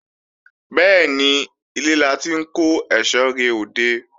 Bẹ́ẹ̀ni, ilé la ti ń kó èsó re òde